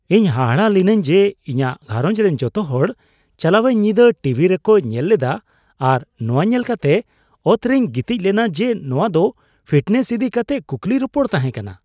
ᱤᱧ ᱦᱟᱦᱟᱲᱟᱜ ᱞᱤᱱᱟᱹᱧ ᱡᱮ ᱤᱧᱟᱹᱜ ᱜᱷᱟᱨᱚᱸᱡᱽ ᱨᱮᱱ ᱡᱚᱛᱚ ᱦᱚᱲ ᱪᱟᱞᱟᱣᱮᱱ ᱧᱤᱫᱟᱹ ᱴᱤᱵᱷᱤ ᱨᱮᱠᱚ ᱧᱮᱞ ᱞᱮᱫᱟ ᱟᱨ ᱱᱚᱶᱟ ᱧᱮᱞ ᱠᱟᱛᱮ ᱚᱛᱨᱮᱧ ᱜᱤᱛᱤᱡ ᱞᱮᱱᱟ ᱡᱮ ᱱᱚᱶᱟ ᱫᱚ ᱯᱷᱤᱴᱱᱮᱥ ᱤᱫᱤ ᱠᱟᱛᱮ ᱠᱩᱠᱞᱤ ᱨᱚᱯᱚᱲ ᱛᱟᱦᱮᱸ ᱠᱟᱱᱟ ᱾